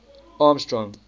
armstrong